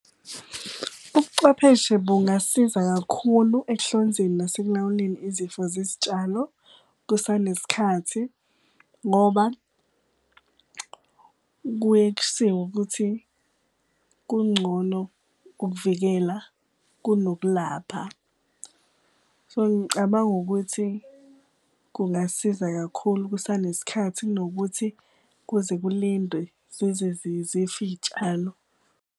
Ubucwepheshe bungasiza kakhulu ekuhlonzeni nasekulawuleni izifo zezitshalo kusanesikhathi ngoba kuye kushiwo ukuthi kungcono ukuvikela kunokulapha. So, ngicabanga ukuthi kungasiza kakhulu kusanesikhathi kunokuthi kuze kulindwe zize zife iy'tshalo.